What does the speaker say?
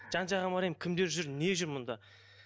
жан жағыма қараймын кімдер жүр не жүр мұнда